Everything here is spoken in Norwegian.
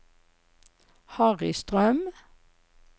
Harry Strøm